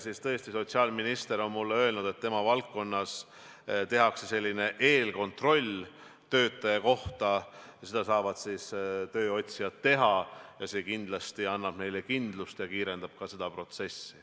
Sotsiaalminister on mulle öelnud, et tema valdkonnas tehakse selline eelkontroll töötaja kohta, seda saavad tööotsijad teha ja see kindlasti annab neile kindlust ja ka kiirendab seda protsessi.